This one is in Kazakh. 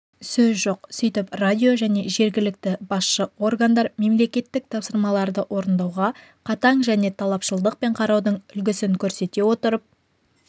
сөз жоқ сөйтіп радио және жергілікті басшы органдар мемлекеттік тапсырмаларды орындауға қатаң және талапшылдықпен қараудың үлгісін көрсете отырып